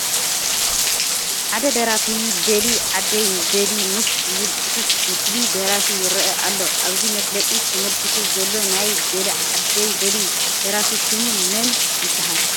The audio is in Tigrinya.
ሓደ ደራፊ በሊ ዓደይ በሊ ምስ ዝብል ፅሑፍ ምስሊ ደራፊ ይርአ ኣሎ፡፡ ኣብዚ መፋለጢ ተመልኪቱ ዘሎ ናይ "በሊ ዓደይ በሊ" ደራፊ ሽሙ መን ይበሃል?